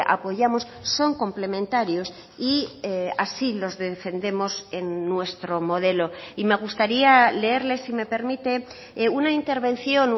apoyamos son complementarios y así los defendemos en nuestro modelo y me gustaría leerle si me permite una intervención